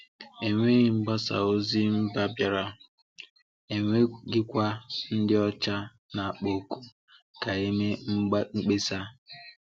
Enweghị mgbasa ozi mba bịara, enweghịkwa ndị ọcha na-akpọ oku ka e mee mkpesa.